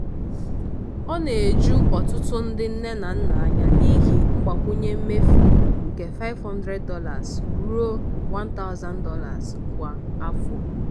ọ na-eju ọtụtụ ndị nne na nna anya n'ihi mgbakwunye mefu nke $500 ruo $1000 kwa afọ.